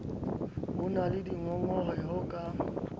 ho na le dingongoreho ka